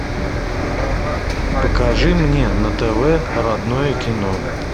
покажи мне на тв родное кино